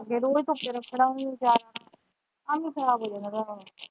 ਜਦੋਂ ਅਸੀਂ ਧੁੱਪੇ ਰੱਖਣਾ ਹੀ ਨਹੀਂ ਅਚਾਰ ਐਂਵੇ ਖਰਾਬ ਹੋ ਜਾਣਾ ਤੁਹਾਡਾ।